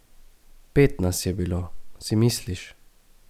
Pet nas je bilo, si misliš?